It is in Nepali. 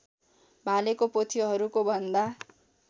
भालेको पोथीहरूकोभन्दा